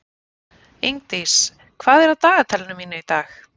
Ingdís, hvað er á dagatalinu mínu í dag?